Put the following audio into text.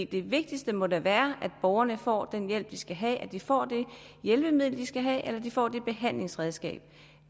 det vigtigste må da være at borgerne får den hjælp de skal have at de får det hjælpemiddel de skal have eller at de får det behandlingsredskab